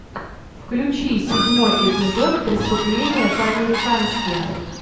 включи седьмой эпизод преступление по американски